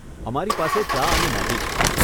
અમારી પાસે ચા અને મેગી છે.